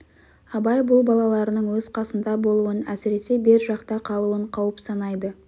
абай бұл балаларының өз қасында болуын әсіресе бер жақта қалуын қауіп санайды